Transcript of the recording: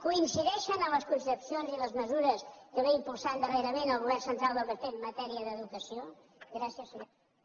coincideixen en les concepcions i les mesures que impulsa darrerament el govern central del pp en matèria d’educació gràcies senyora presidenta